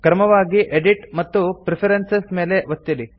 ಕ್ರಮವಾಗಿ ಎಡಿಟ್ ಮತ್ತು ಪ್ರೆಫರೆನ್ಸಸ್ ಮೇಲೆ ಒತ್ತಿರಿ